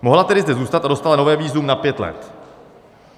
Mohla tedy zde zůstat a dostala nové vízum na pět let.